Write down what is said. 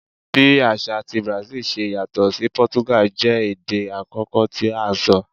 Bi aṣa ti Brazil ṣe yatọ si Portuguese jẹ ede akọkọ ti a sọ